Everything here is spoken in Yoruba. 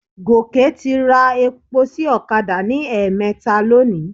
Gòkè ti ra epo sí ọ̀kadà ní ẹ̀ẹ̀mẹta lónìí.